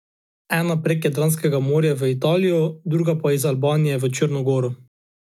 Ena prek Jadranskega morja v Italijo, druga pa iz Albanije v Črno goro.